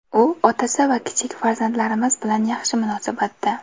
U otasi va kichik farzandlarimiz bilan yaxshi munosabatda.